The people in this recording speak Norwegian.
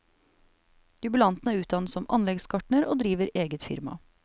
Jubilanten er utdannet som anleggsgartner, og driver eget firma.